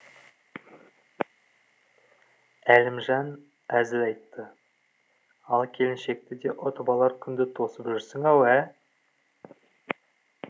әлімжан әзіл айтты ал келіншекті де ұтып алар күнді тосып жүрсің ау ә